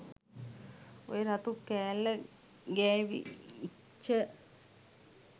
ඔය රතු කෑල්ල ගෑවිච්ච